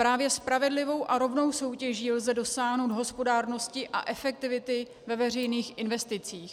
Právě spravedlivou a rovnou soutěží lze dosáhnout hospodárnosti a efektivity ve veřejných investicích.